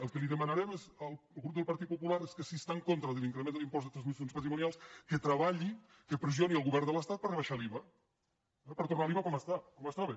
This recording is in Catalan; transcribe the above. el que li demanarem al grup del partit popular és que si està en contra de l’increment de l’impost de transmissions patrimonials que treballi que pressioni el govern de l’estat per rebaixar l’iva eh per tornar l’iva com estava